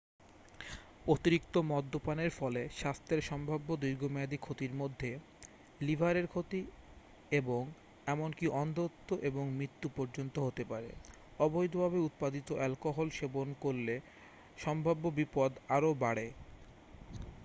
অতিরিক্ত মদ্যপানের ফলে স্বাস্থ্যের সম্ভাব্য দীর্ঘমেয়াদী ক্ষতির মধ্যে লিভারের ক্ষতি এবং এমনকি অন্ধত্ব এবং মৃত্যু পর্যন্ত হতে পারে অবৈধভাবে উৎপাদিত অ্যালকোহল সেবন করলে সম্ভাব্য বিপদ আরও বাড়ে